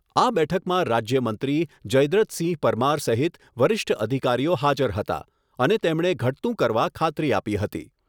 આ બેઠકમાં રાજ્ય મંત્રી જયદ્રથ સિંહ પરમાર સહિત વરીષ્ઠ અધિકારીઓ હાજર હતા અને તેમણે ઘટતું કરવા ખાત્રી આપી હતી